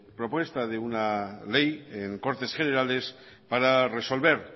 propuesta de una ley en cortes generales para resolver